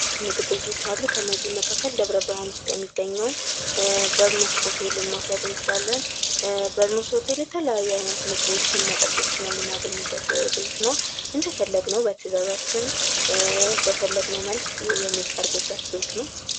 ምግብ ቤቶች አሉ። ከእነዚህ መካከል ደብረ ብርሃን የሚገኘዉን በርኖስ ሆቴልን መዉሰድ እንችላለን። በርኖስ ሆቴል የተለያዩ ምግቦችን መጠጦችን የምናገኝበት ቤት ነዉ። እንደፈለግነዉ በትዛዛችን በፈለግነዉ መልክ የሚቀርብበት ቤት ነዉ።